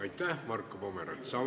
Aitäh, Marko Pomerants!